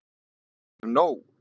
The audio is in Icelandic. Ég hef nóg.